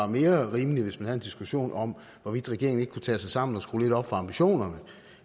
mere rimeligt hvis vi havde en diskussion om hvorvidt regeringen ikke kunne tage sig sammen og skrue lidt op for ambitionerne